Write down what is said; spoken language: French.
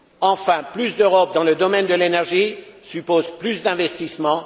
Enfin, plus d'Europe dans le domaine de l'énergie suppose plus d'investissements.